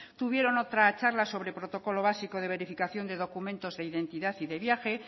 tuvieron otra charla sobre protocolo básico de verificación de documentos de identidad y de viaje